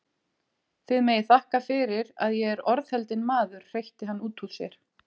Þið megið þakka fyrir að ég er orðheldinn maður hreytti hann út úr sér.